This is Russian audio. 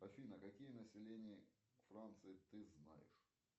афина какие населения франции ты знаешь